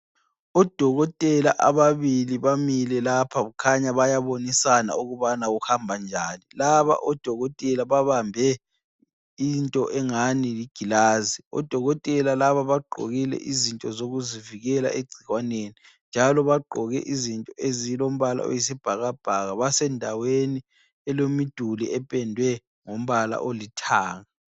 Odokotela ababili bamile lapha kukhanya bayabonisana ukubana kuhamba njani, laba odokotela babambe into engani ligilazi, odokotela laba bagqokile izinto zokuzivikela egcikwaneni. Njalo bagqoke izinto ezilombala oyisibhakabhaka basendaweni elemiduli ependwe ngombala olithanga.